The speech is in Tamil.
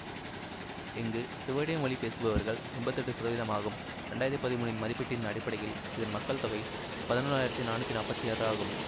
இங்கு சுவீடிய மொழி பேசுபவர்கள் எம்பத்தி எட்டு சதவிதம் ஆகும் இரண்டு ஆயிரத்தி பதிமூன்றின் மதிப்பீட்டின் அடிப்படையில் இதன் மக்கள் தொகை பதினொன்னாயிரத்தி நானூற்றி நாற்பத்தி ஆறு ஆகும்